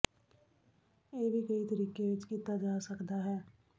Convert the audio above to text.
ਇਹ ਵੀ ਕਈ ਤਰੀਕੇ ਵਿੱਚ ਕੀਤਾ ਜਾ ਸਕਦਾ ਹੈ